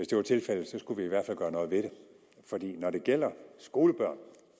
det var tilfældet skulle vi i hvert fald gøre noget ved det for når det gælder skolebørn og